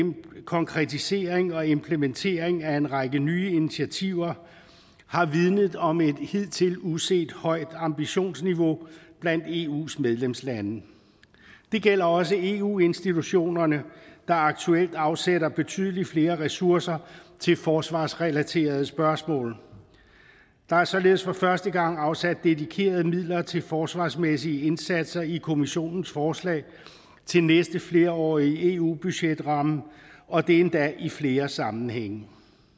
konkretisering og implementering af en række nye initiativer har vidnet om et hidtil uset højt ambitionsniveau blandt eus medlemslande det gælder også eu institutionerne der aktuelt afsætter betydelig flere ressourcer til forsvarsrelaterede spørgsmål der er således for første gang afsat dedikerede midler til forsvarsmæssige indsatser i kommissionens forslag til næste flerårige eu budgetramme og det endda i flere sammenhænge